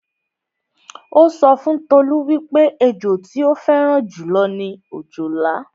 Ó sọ fún Tolú wípé ẹjọ tí ó fẹ́ràn jù lọ ni òjòlá